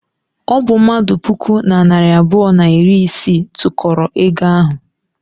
Ọ bụ mmadụ puku na narị abụọ na iri isii tụkọrọ ego ahụ.